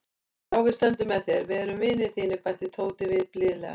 Já, við stöndum með þér, við erum vinir þínir bætti Tóti við blíðlega.